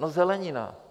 No zelenina.